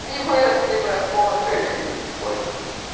не выросли просмотры нисколько